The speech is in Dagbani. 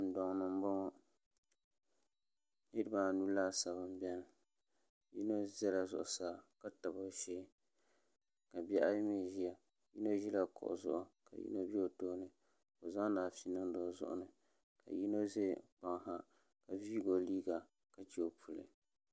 Dundoŋ ni n boŋo niraba anu laasabu n biɛni yino ʒɛla zuɣusaa ka tabi o shee ka bihi ayi mii ʒiya bi mii ʒila kuɣu zuɣu ka yino ʒɛ o tooni ka o zaŋdi afi niŋdi o zuɣu ni ka yino ʒɛ kpaŋ ha ka viigi o liiga ka chɛ o puli